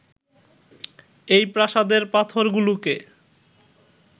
এই প্রাসাদের পাথরগুলোকে